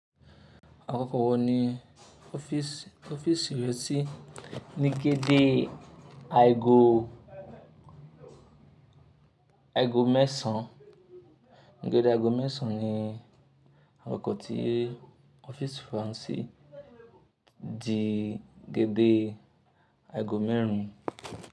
Àkọ́kọ́ wọ ní ọ́fíìsì rẹ sí? Ní gédè àgo mẹ́sàn án. Deédè àago mẹ́sàn ní àkọ́kọ́ tí ọ́fíìsì wa n si di deédè àago mẹ́rin.